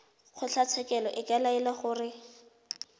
kgotlatshekelo e ka laela gore